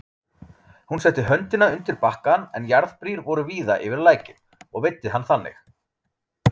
Hún setti höndina undir bakkann, en jarðbrýr voru víða yfir lækinn, og veiddi hann þannig.